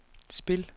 spil